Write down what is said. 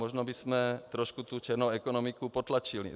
Možná bychom trochu tu černou ekonomiku potlačili.